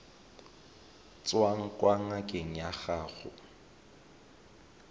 tswang kwa ngakeng ya gago